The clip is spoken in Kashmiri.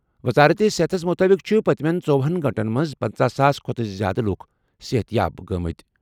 وزارت صحتَس مُطٲبِق چھِ پٔتمیٚن ژۄہنَ گٲنٛٹَن منٛز پنژَہ ساس کھۄتہٕ زِیٛادٕ لُکھ صحت یاب گٔمٕتۍ۔